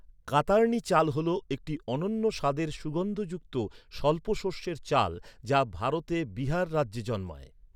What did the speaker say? কাতার্নি চাল হল একটি অনন্য স্বাদের, সুগন্ধযুক্ত, স্বল্প শস্যের চাল যা ভারতে বিহার রাজ্যে জন্মায়।